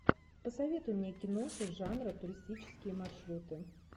посоветуй мне киноху жанра туристические маршруты